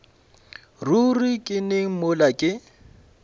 ruri ke neng mola ke